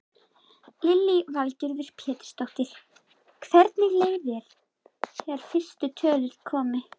Lillý Valgerður Pétursdóttir: Hvernig leið þér þegar fyrstu tölur komu?